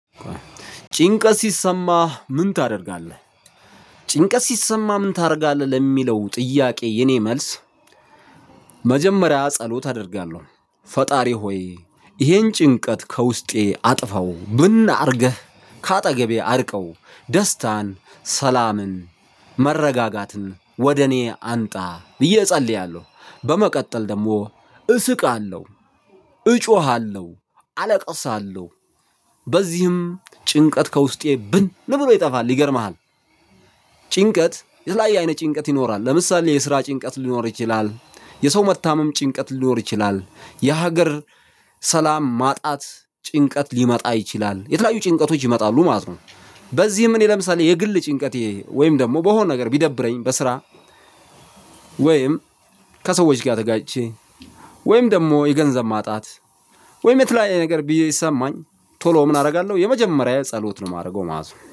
ጭንቀት ሲሰማህ ምን ታደርጋለህ? ጭንቀት ሲሰማህ ምን ታደርጋለህ ለሚለው ጥያቄ የእኔ መልስ። መጀመሪያ ጸሎት አደርጋለሁ። ፈጣሪ ሆይ ይሄን ጭንቀት ከውስጤ አጥፈው ብን አርገህ ከአጠገቤ አርቀው ደስታን ሰላምን መረጋጋትን ወደ እኔ አምጣ ብዬ እጸልያለሁ። በመቀጠል ደግሞ እስቃለሁ። እጮሃለሁ አለቅሳለሁ። በዚህም ጭንቀት ከውስጤ ብን ብሎ ይጠፋል ይገርምሃል። ጭንቀት የተለያየ አይነ ጭንቀት ይኖራል። ለምሳሌ የስራ ጭንቀት ሊኖር ይችላል። የሰው መታመም ጭንቀት ሊኖር ይችላል። የሀገር ሰላም ማጣት ጭንቀት ሊመጣ ይችላል የተለያዩ ጭንቀቶች ይመጣሉ ማለት ነው። በዚህም እኔ ለምሳሌ የግል ጭንቀቴ ወይም ደግሞ በሆነ ነገር ቢደብረኝ በስራ ወይም ከሰዎች ጋር ተጋጭቼ ወይም ደግሞ የገንዘብ ማጣት ወይም የተለያየ ነገር ብዬ ቢሰማኝ። ቶሎ ምን አደርጋለሁ የመጀመሪያ ጸሎት ነው ማደርገው ማለት ነው